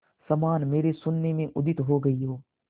समान मेरे शून्य में उदित हो गई हो